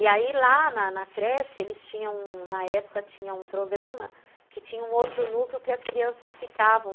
E aí, lá na na creche, eles tinham... Na época, tinha um programa que tinha um outro núcleo que as crianças ficavam.